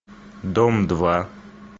дом два